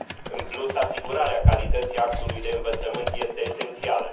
În plus, asigurarea calității actului de învățământ este esențială.